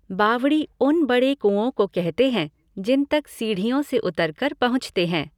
बावड़ी उन बड़े कुओं को कहते हैं जिन तक सीढ़ियों से उतरकर पहुँचते हैं।